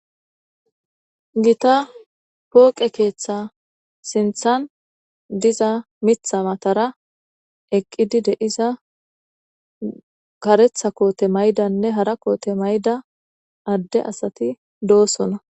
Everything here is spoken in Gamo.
Gitta poqqe ketha sinithani diza mitha matara eqidi karetha kotenne hara kote mayidia assati dossona.